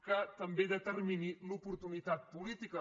que també determini l’oportunitat política